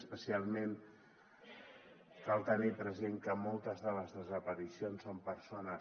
especialment cal tenir present que moltes de les desaparicions són persones